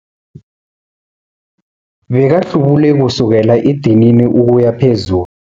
Bekahlubule kusukela edinini ukuya phezulu.